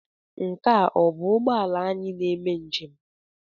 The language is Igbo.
Nke a ọ bụ ụgbọ ala anyị na-eme njem?